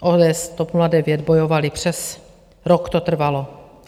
ODS, TOP 09, bojovaly, přes rok to trvalo.